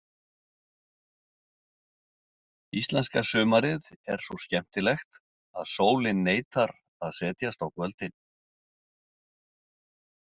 Íslenska sumarið er svo skemmtilegt að sólin neitar að setjast á kvöldin.